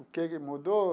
O que que mudou?